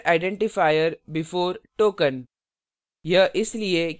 expected identifier before token